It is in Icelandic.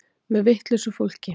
Með vitlausu fólki.